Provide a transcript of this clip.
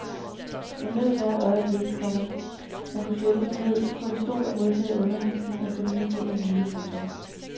Jeg nød hvert øjeblik, komma man kunne sætte sig ned på en stol og modtage undervisning og få nye ting at vide. punktum